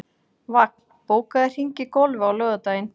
Vagn, bókaðu hring í golf á laugardaginn.